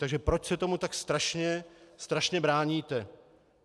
Takže proč se tomu tak strašně bráníte?